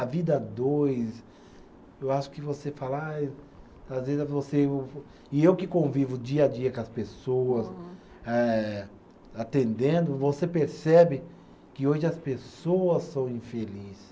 A vida a dois, eu acho que você fala, ai às vezes você. E eu que convivo dia a dia com as pessoas, eh atendendo, você percebe que hoje as pessoas são infelizes.